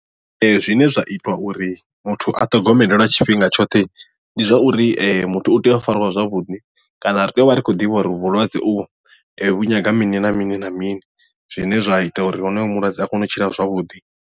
Ee zwine zwa ita uri muthu a ṱhogomelelwe lwa tshifhinga tshoṱhe ndi zwa uri muthu u tea u fariwa zwavhuḓi kana ri tea u vha ri khou ḓivha uri vhulwadze u vho vhu nyaga mini na mini na mini zwine zwa ita uri honoyo mulwadze a kone u tshila zwavhuḓi.